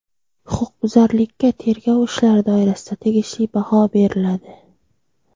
Huquqbuzarlikka tergov ishlari doirasida tegishli baho beriladi.